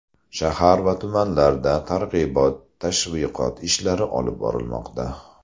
Shahar va tumanlarda targ‘ibot-tashviqot ishlari olib borilmoqda.